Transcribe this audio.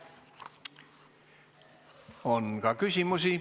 On ka küsimusi.